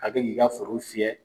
A bɛ k'i ka foro fiyɛ.